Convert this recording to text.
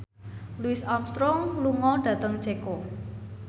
Louis Armstrong lunga dhateng Ceko